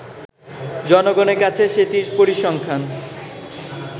জনগনের কাছে সেটির পরিসংখ্যান